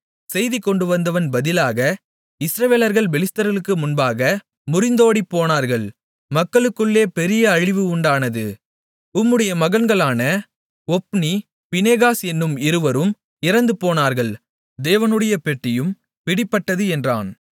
செய்தி கொண்டுவந்தவன் பதிலாக இஸ்ரவேலர்கள் பெலிஸ்தர்களுக்கு முன்பாக முறிந்தோடிப்போனார்கள் மக்களுக்குள்ளே பெரிய அழிவு உண்டானது உம்முடைய மகன்களான ஒப்னி பினெகாஸ் என்னும் இருவரும் இறந்துபோனார்கள் தேவனுடைய பெட்டியும் பிடிபட்டது என்றான்